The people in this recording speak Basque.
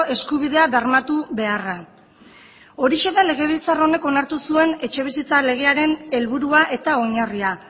eskubidea bermatu beharra horixe da legebiltzar honek onartu zuen etxebizitza legearen helburua eta oinarria